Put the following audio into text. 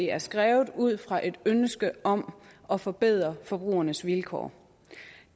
er skrevet ud fra ønsket om at forbedre forbrugernes vilkår